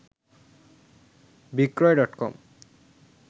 বিক্রয় ডটকম